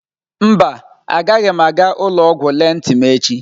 Mba, agaghị m aga ụlọ ọgwụ lelee ntị m echi.